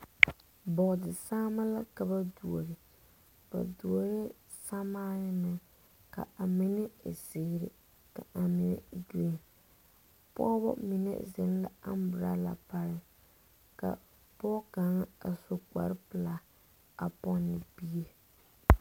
Boɔdi saama la ka ba duohe. Ba duoheɛ samaane meŋ. Ka a mene e ziire, ka a mene e gren. Pɔgɔbɔ mene zeŋ la ambrala pare. Ka pɔgɔ kanga a su kparo pulaa a ponne bie.